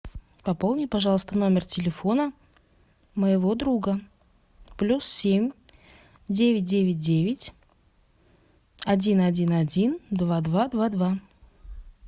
пополни пожалуйста номер телефона моего друга плюс семь девять девять девять один один один два два два два